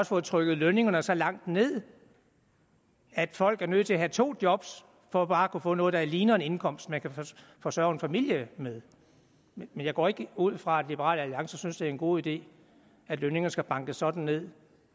fået trykket lønningerne så langt ned at folk er nødt til at have to job for bare at kunne få noget der ligner en indkomst man kan forsørge en familie med men jeg går ikke ud fra at liberal alliance synes det er en god idé at lønningerne skal bankes sådan ned